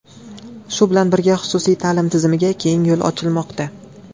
Shu bilan birga, xususiy ta’lim tizimiga keng yo‘l ochilmoqda.